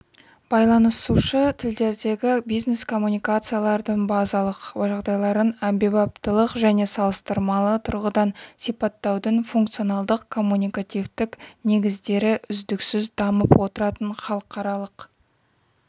байланысушы тілдердегі бизнес-коммуникациялардың базалық жағдайларын әмбебаптылық және салыстырмалы тұрғыдан сипаттаудың функционалдық-коммуникативтік негіздері үздіксіз дамып отыратын халықаралық